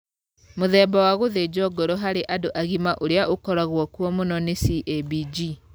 Mũthemba wa gũthĩnjwo ngoro harĩ andũ agima ũrĩa ũkoragwo kuo mũno nĩ CABG.